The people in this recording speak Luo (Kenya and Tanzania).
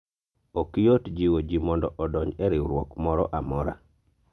ok yot jiwo jii mondo odonji e riwruok moro amora